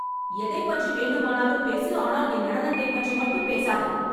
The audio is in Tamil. எதைப் பற்றி வேண்டுமானாலும் பேசு ஆனால் என் நடனத்தைப் பற்றி மட்டும் பேசாதே.